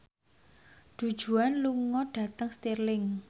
Du Juan lunga dhateng Stirling